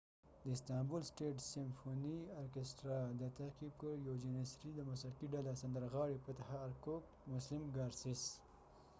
د استانبول سټیت سیمفونی ارکېسټرا istanbul state symphony orchestra دا تعقیب کړ، یو جنیسری janissary band د موسیقی ډله ، سندرغاړی فتح ارکوکfatah erkoc مسلم ګارسیس muslum gurces